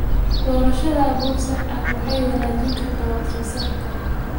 Doorashada abuur sax ah waxay wanaajin kartaa wax-soo-saarka.